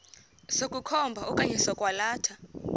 sokukhomba okanye sokwalatha